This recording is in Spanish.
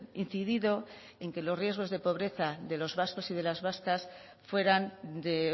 incidido en que los riesgos de pobreza de los vascos y de las vascas fueran de